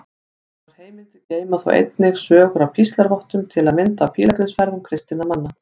Aðrar heimildir geyma þó einnig sögur af píslarvottum, til að mynda af pílagrímsferðum kristinna manna.